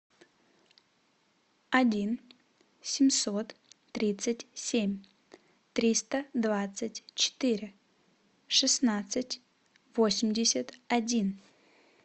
один семьсот тридцать семь триста двадцать четыре шестнадцать восемьдесят один